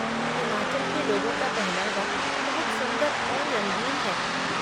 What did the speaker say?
हिमाचल के लोगों का पहनावा बहुत सुंदर और रंगीन है।